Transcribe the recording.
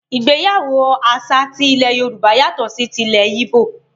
Ìgbéyàwó àṣà tí ilẹ́ Yorùbá yàtọ̀ sí tí ilẹ̀ yíbò.